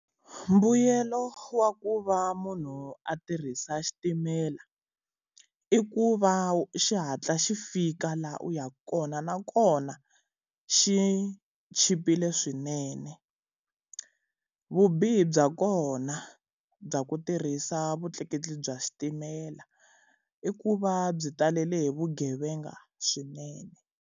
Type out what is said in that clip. Mbuyelo wa ku va munhu a tirhisa xitimela, i ku va xihatla xi fika laha u yaka kona nakona xi chipile swinene. Vubihi bya kona bya ku tirhisa vutleketli bya xitimela, i ku va byi talele hi vugevenga swinene.